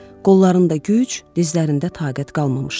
Qollarında güc, dizlərində taqət qalmamışdı.